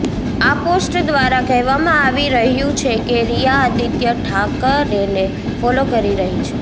આ પોસ્ટ દ્વારા કહેવામાં આવી રહ્યું છે કે રિયા આદિત્ય ઠાકરેને ફોલો કરી રહી છે